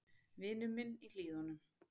Vinur minn í Hlíðunum.